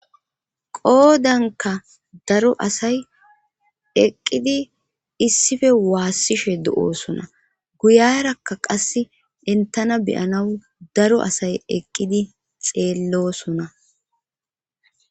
Qoodankka daro asay eqidi issippe waasishe de'osona. Goyerakka qassi entana be'anawu daro asay eqqidi xeelosona.